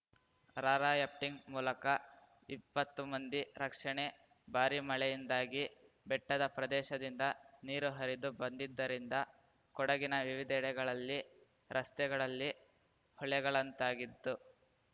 rafting ಮೂಲಕ ಇಪ್ಪತ್ತು ಮಂದಿ ರಕ್ಷಣೆ ಭಾರಿ ಮಳೆಯಿಂದಾಗಿ ಬೆಟ್ಟದ ಪ್ರದೇಶದಿಂದ ನೀರು ಹರಿದು ಬಂದಿದ್ದರಿಂದ ಕೊಡಗಿನ ವಿವಿಧೆಡೆಗಳಲ್ಲಿ ರಸ್ತೆಗಳಲ್ಲಿ ಹೊಳೆಗಳಂತಾಗಿತ್ತು